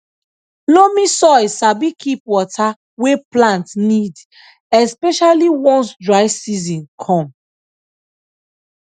loamy soil sabi keep water wey plant need especially once dry season come